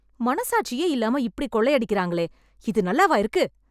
மனசாட்சியே இல்லாம இப்பிடி கொள்ளையாடிக்கிறாங்களே இது நல்லாவா இருக்கு